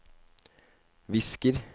visker